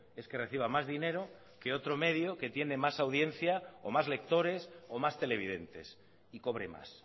es que reciba más dinero que otro medio que tiene más audiencia o más lectores o más televidentes y cobre más